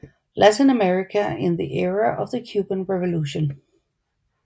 Latin America in the Era of the Cuban Revolution